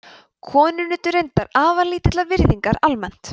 konur nutu reyndar afar lítillar virðingar almennt